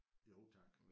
Jo tak